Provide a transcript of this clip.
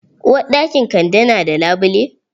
Uwarɗakin kande na da labule?